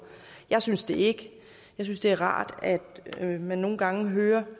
jeg synes det ikke jeg synes det er rart at man nogle gange hører